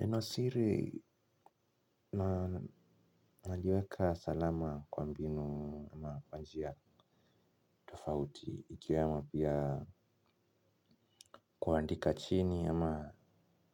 Neno siri, najiweka salama kwa mbinu ama wa njia tofauti, ikiwemo pia kuandika chini ama,